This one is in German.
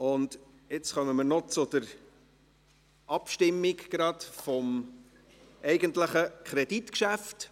Nun kommen wir noch zur Abstimmung über das eigentliche Kreditgeschäft.